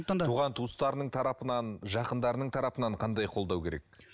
туған туыстарының тарапынан жақындарының тарапынан қандай қолдау керек